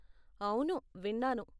అవును, విన్నాను.